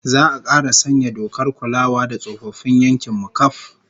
Za'a kara sanya dokar kulawa da tsofaffin yankin mu kaf